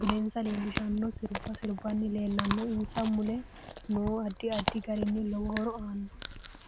budensa leelishano sirba sirbanni leelanno insa mule noo addi addi garinni lowo horo aanno